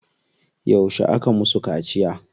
Yauce aka musu kaciya?